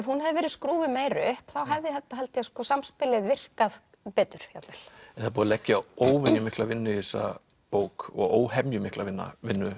hún hefði verið skrúfuð meira upp þá hefði held ég samspilið virkað betur jafnvel það er búið að leggja óvenju mikla vinnu í þessa bók og óhemjumikla vinnu